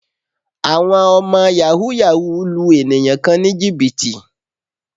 Àwọn ọmọ Yàhooyahoo lu ènìyàn kan ní Jìbìtì